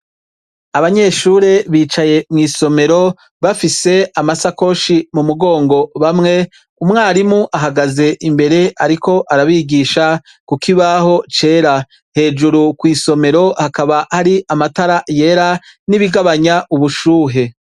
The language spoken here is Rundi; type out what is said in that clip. Abanyeshure bicaye mw’isomero bafise amashakoshi mu mugongo bamwe, umwarimu ahagaze imbere ariko arabigisha kukibaho cera ,hejuru kw’isomero hakaba hari amatara yera nibigabanya ubushuhe.